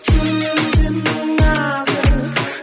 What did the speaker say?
жүрегің сенің нәзік